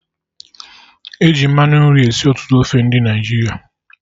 E ji mmanụ nri esi ọtụtụ ofe ndị Naịjirịa